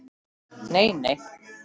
Nei, nei!